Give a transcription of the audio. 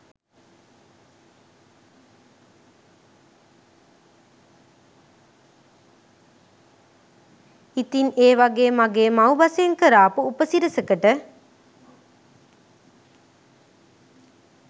ඉතිං ඒ වගේ මගේ මව්බසෙන් කරාපු උපසි‍රැසියකට